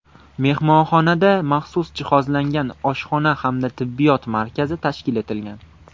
Mehmonxonada maxsus jihozlangan oshxona hamda tibbiyot markazi tashkil etilgan.